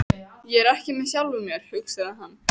Ég er ekki með sjálfum mér, hugsaði hann.